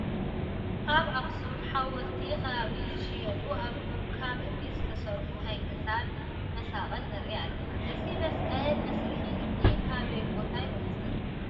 ኣብ ኣኽሱም ሓወልቲ ከባቢ ዝሽየጡ ካብ እምኒ ዝተሰርሑ ናይ ክሳድ መሳቕል ንርኢ ኣለና፡፡ እዚ መስቀል መስርሒ እምኒ ካበይ ቦታ ይመፅእ?